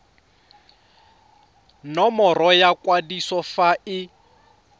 nomoro ya kwadiso fa e